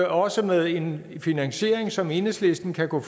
også med en finansiering som enhedslisten kan gå